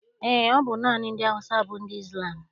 Eé, ọ bụ naanị ndị Awụsa bụ ndị Izlam.